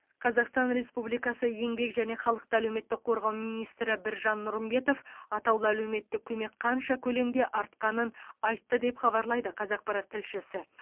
қазақстан республикасы еңбек және халықты әлеуметтік қорғау министрі біржан нұрымбетов атаулы әлеуметтік көмек қанша көлемде артқанын айтты деп хабарлайды қазақпарат тілшісі